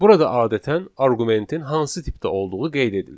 Burada adətən arqumentin hansı tipdə olduğu qeyd edilir.